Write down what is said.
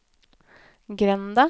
grenda